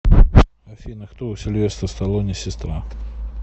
афина кто у сильвестора сталоне сестра